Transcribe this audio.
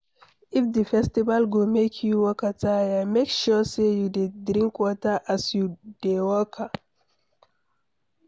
If the festival go make you waka tire make sure say you de drink water as you de waka